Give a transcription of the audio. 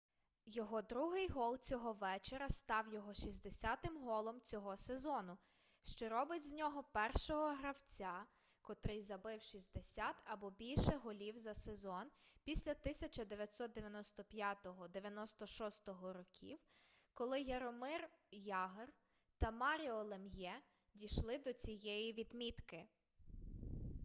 його другий гол цього вечора став його 60-м голом цього сезону що робить з нього першого гравця котрий забив 60 або більше голів за сезон після 1995-96 років коли яромир ягр та маріо лем'є дійшли до цієї відмітки